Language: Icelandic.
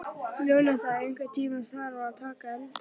Jónatan, einhvern tímann þarf allt að taka enda.